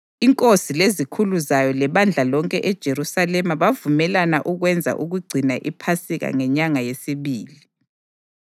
Inkosi lezikhulu zayo lebandla lonke eJerusalema bavumelana ukwenza ukugcina iPhasika ngenyanga yesibili.